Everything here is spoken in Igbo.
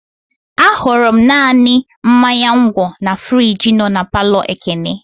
Ahụrụ m naanị mmanya ngwo na friji nọ na palọ Ekene.